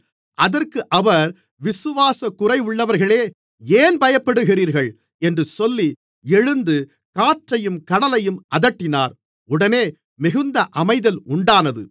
அதற்கு அவர் விசுவாசக்குறைவுள்ளவர்களே ஏன் பயப்படுகிறீர்கள் என்று சொல்லி எழுந்து காற்றையும் கடலையும் அதட்டினார் உடனே மிகுந்த அமைதல் உண்டானது